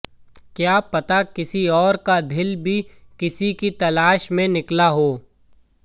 क्या पता किसी और का दिल भी किसी की तलाश में निकला हो